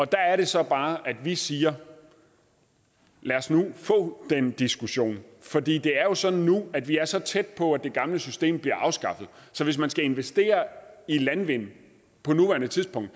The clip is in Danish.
der er det så bare at vi siger lad os nu få den diskussion for det det er jo sådan nu at vi er så tæt på at det gamle system bliver afskaffet at hvis man skal investere i landvind på nuværende tidspunkt